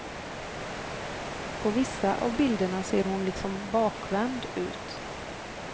På vissa av bilderna ser hon liksom bakvänd ut.